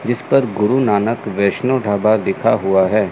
जिस पर गुरु नानक वैष्णो ढाबा लिखा हुआ है।